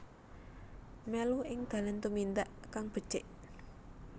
Mèlu ing dalan tumindak kang becik